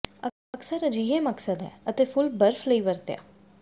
ਅਕਸਰ ਅਜਿਹੇ ਮਕਸਦ ਹੈ ਅਤੇ ਫੁੱਲ ਬਰਫ਼ ਲਈ ਵਰਤਿਆ